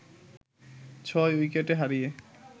৬ উইকেটে হারিয়ে